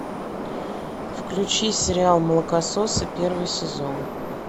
включи сериал молокососы первый сезон